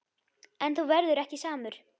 En þú verður ekki samur.